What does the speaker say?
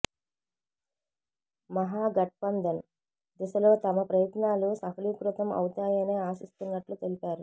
మహా ఘట్బంధన్ దిశలో తమ ప్రయత్నాలు సఫలీకృతం అవుతాయనే ఆశిస్తున్నట్లు తెలిపారు